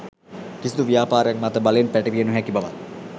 කිසිදු ව්‍යාපාරයක් මත බලෙන් පැටවිය නොහැකි බවත්